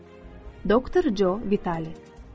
Doktor Joe Vitali.